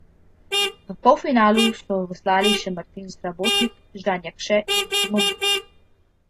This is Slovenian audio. V polfinalu so veslali še Martin Srabotnik, Žan Jakše in Simon Brus.